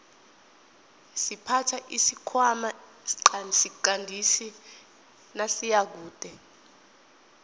siphatha isikhwana siqandisi nasiyakude